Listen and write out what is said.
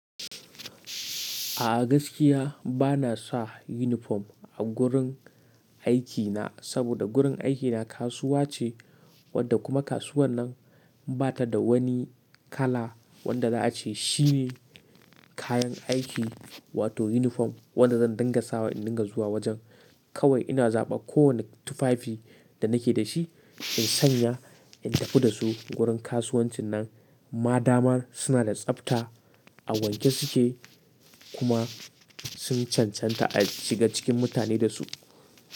A'a gaskiya bana sa yunifom a gurin aikina saboda gurin aikina kasuwa ce wadda kuma kasuwar nan ba ta da wani kala wanda za a ce shine kayan aiki wato yunifom wanda zan dingasawa in dinga zuwa wajen. Kawai ina zaɓan kowane tufafi da nake da shi in sanya in tafi da su wurin kasuwancin na. Madamar suna da tsafta a wanke suke kuma sun cancanta a shiga cikin mutane da su.